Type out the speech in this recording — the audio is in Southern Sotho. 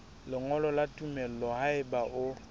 lengolo la tumello haeba o